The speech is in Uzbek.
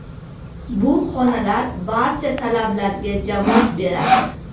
Bu xonalar barcha talablarga javob beradi.